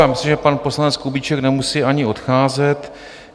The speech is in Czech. Já myslím, že pan poslanec Kubíček nemusí ani odcházet .